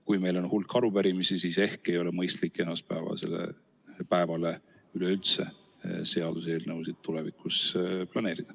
Kui meil on hulk arupärimisi, siis ehk ei ole mõistlik esmaspäevasele päevale üleüldse seaduseelnõusid tulevikus planeerida.